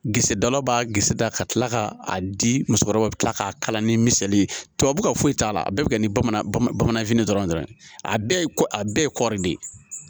Gisidala b'a gese da ka tila k'a di musokɔrɔbaw bɛ tila k'a kalan ni misali ye tubabu foyi t'a la a bɛɛ bɛ kɛ ni bamanan bamananfin dɔrɔn ye a bɛɛ ye ko a bɛɛ ye kɔɔri de ye